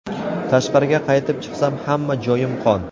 Tashqariga qaytib chiqsam, hamma joyim qon.